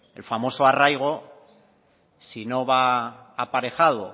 el famoso arraigo si no va aparejado